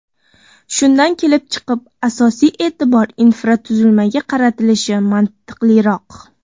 Shundan kelib chiqib, asosiy e’tibor infratuzilmaga qaratilishi mantiqliroq.